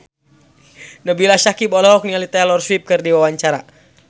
Nabila Syakieb olohok ningali Taylor Swift keur diwawancara